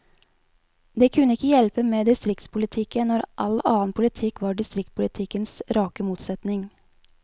Det kunne ikke hjelpe med distriktspolitikken, når all annen politikk var distriktspolitikkens rake motsetning.